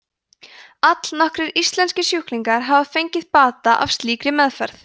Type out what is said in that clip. allnokkrir íslenskir sjúklingar hafa fengið bata af slíkri meðferð